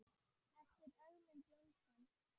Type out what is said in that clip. eftir Ögmund Jónsson